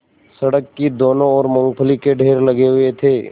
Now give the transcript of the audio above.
सड़क की दोनों ओर मूँगफली के ढेर लगे हुए थे